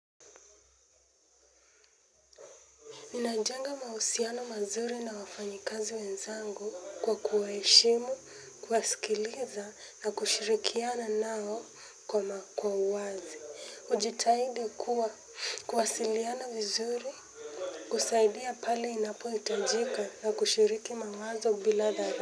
Ninajenga mahusiano mazuri na wafanyikazi wenzangu kwa kuwaheshimu, kuwasikiliza na kushirikiana nao kwa ma kwa uwazi. Ujitahidi kuwa kuwasiliana vizuri. Kusaidia pale inapohiitajika na kushiriki mawazo bila dhala.